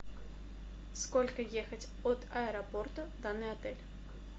сколько ехать от аэропорта в данный отель